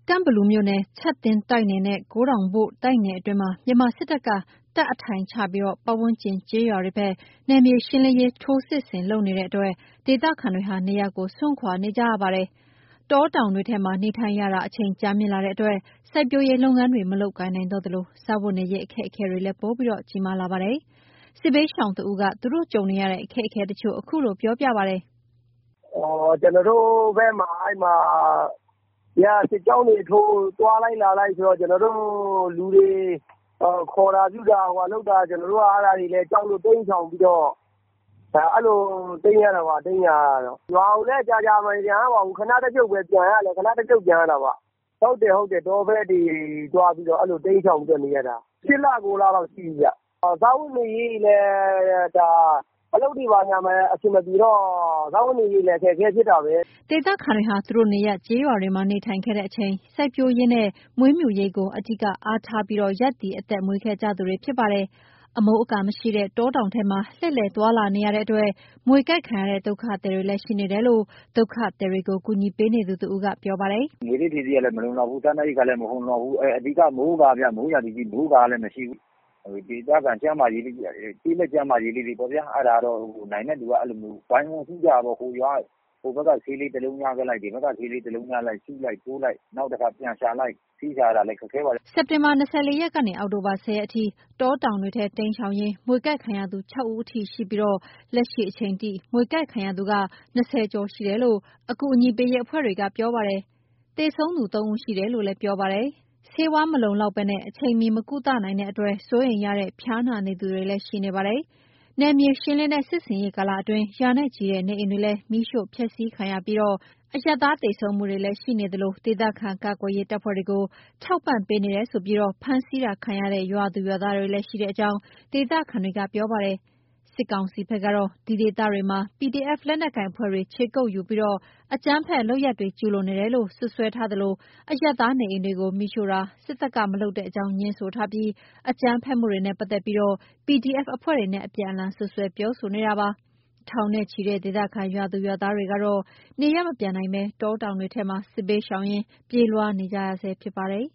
ကန့်ဘလူမြို့နယ် ချပ်သင်းတိုက်နယ်နဲ့ ကိုးတောင်ဘို့တိုက်နယ်အတွင်းမှာ မြန်မာစစ်တပ်က တပ်အထိုင်ချပြီး ပတ်ဝန်းကျင် ကျေးရွာတွေဘက် နယ်မြေရှင်းလင်းရေး ထိုးစစ်လုပ်နေတဲ့အတွက် ဒေသခံတွေဟာ နေရပ်ကို စွန့်ခွာနေကြတာပါ။ တောင်တောင်တွေထဲမှာ နေထိုင်ရတာ အချိန်ကြာမြင့်လာတဲ့အတွက် စိုက်ပျိုးလုပ်ငန်းတွေ မလုပ်ကိုင်နိုင်တော့သလို စားဝတ်နေရေး အခက်အခဲတွေလည်း ပိုပြီး ကြီးမားလာပါတယ်။ စစ်ဘေးရှောင်တဦး သူတို့ကြုံနေရတဲ့ အခက်အခဲတချို့ကို အခုလိုပြောပြပါတယ်။ “ကျွန်တော်တို့ဘက်မှာ စစ်ကြောင်းတွေထိုး သွားလိုက် လာလိုက်ဆိုတော့ လူတွေခေါ်တာ(ဖမ်း) ပြုတာလုပ်တော့ ကျွန်တော်တို့က ကြောက်လို့ အဲ့လိုတိမ်းနေရတာပါ။ ရွာကိုလည်း ကြာကြာမပြန်ရပါဘူး။ ခဏတဖြုတ်ပဲ ပြန်ရတာပေါ့။ တောဘက်တွေတိမ်းရှောင်ပြီးနေနေရတာ ၈ လ ၉ လလောက်ရှိပြီ။ စားဝတ်နေရေးတွေလည်း အလုပ်တွေလည်း အဆင်မပြေတော့ စားဝတ်နေရေးလည်း ခက်ခဲတာပါ။” ဒေသခံတွေဟာ သူတို့ နေရပ် ကျေးရွာတွေမှာ နေထိုင်ခဲ့တဲ့အချိန်၊ စိုက်ပျိုးရေးနဲ့ မွေးမြူရေးကို အဓိက အားထားပြီး ရပ်တည် အသက်မွေးခဲ့ကြသူတွေပါ။ အမိုးအကာမရှိတဲ့ တောတောင်ထဲမှာ လှည့်လှည်သွားလာနေတဲ့အတွက် မြေကိုက်ခံရတဲ့ ဒုက္ခသည်တွေလည်း ရှိနေတယ်လို့ ဒုက္ခသည်တွေကို ကူညီပေးနေသူတဦးကေ ပြာပါတယ်။ “မြွေဆိပ်ဖြေဆေးလည်း မလုံလောက်ဘူး။ စားနပ်ရိက္ခာလည်း မလုံလောက်ဘူး။ အဓိက က မိုးကာ မိုးရာသီဖြစ်ပေမယ့် မိုးကာက မရှိဘူး။ ဒေသခံ ကျေးလက်ကျန်းမာရေးလေးတွေပေါ့။ နိုင်တဲ့သူက အဲ့ဒါဝိုင်းဝန်းကု့သကြတာပေါ့။ ဟိုဘက်က ဆေးလေးတလုံးရခဲ့လိုက် စုလိုက်ထိုးလိုက် ပြန်ရှာလိုက်နဲ့ ဆေးရှာရတာလည်း ခက်ခဲပါတယ်။” စက်တင်ဘာ ၂၄ ရက်ကနေ အောက်တိုဘာ ၁၀ ရက်အထိ တောတောင်တွေထဲ တိမ်းရှောင်ရင်း မြွေကိုက်ခံရသူ ၆ ဦးအထိ ရှိပြီး လက်ရှိအချိန်ထိ မြွေကိုက် ခံရသူ ၂၀ ကျော်ရှိတယ်လို့ အကူအညီပေးရေးအဖွဲ့တွေက ပြောပါတယ်။ သေဆုံးသူ ၃ ဦးရှိတယ်လို့လည်း ပြောပါတယ်။ ဆေးဝါး လုံလောကတာ အချိန်မှီ မကုသနိုင်တဲ့အတွက် စိုးရိမ်ရတဲ့ ဖျားနာနေသူတွေလည်း ရှိနေပါတယ်။ နယ်မြေရှင်းလင်းတဲ့ စစ်ဆင်ရေး ကာလအတွင်း ရာနဲ့ချီတဲ့နေအိမ်တွေလည်း မီးရှို့ဖျက်စီးခံရပြီး အရပ်သား သေဆုံးမှုတွေလည်းရှိသလို ဒေသခံ ကာကွယ်ရေးတပ်ဖွဲ့တွေကို ထောက်ပံ့ပေးနေတယ်ဆိုပြီး ဖမ်းဆီးတာခံရတဲ့ ရွာသူရွာသားတွေလည်း ရှိတဲ့အကြောင်း ဒေသခံတွေက ပြောပါတယ်။ စစ်ကောင်စီဘက်ကတော့ ဒီဒေသတွေမှာ PDF လက်နက်ကိုင်အဖွဲ့တွေ ခြေကုတ်ယူပြီး အကြမ်းဖက်လုပ်ရပ်တွေ ကျုးလွန်နေတယ်လို့ စွပ်စွဲသလို အရပ်သားနေအိမ်တွေကို မီးရှို့တာ စစ်တပ်က မလုပ်တဲ့အကြောင်း ငြင်းဆိုသလို အကြမ်းဖက်မှုတွေနဲ့ ပတ်သက်ပြီး PDF အဖွဲ့တွေနဲ့ အပြန်အလှန်စွပ်စွဲနေပါတယ်။ ထောင်နဲ့ချီတဲ့ ဒေသခံ ရွာသူရွာသားတွေကတော့ နေရပ်မပြန်နိုင်ဘဲ တောတောင်တွေထဲမှာ စစ်ဘေးရှောင်ရင်း ပြေးလွှားနေကြရဆဲဖြစ်ပါတယ်